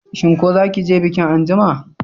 Shin ko zaki je bikin anjima?